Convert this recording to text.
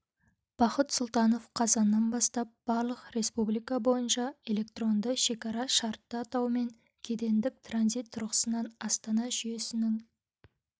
бақыт сұлтанов қазаннан бастап барлық республика бойынша электронды шекара шартты атауымен кедендік транзит тұрғысынан астана жүйесінің